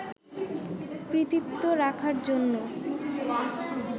কৃতিত্ব রাখার জন্য